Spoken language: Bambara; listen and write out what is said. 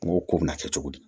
N ko ko bɛna kɛ cogo di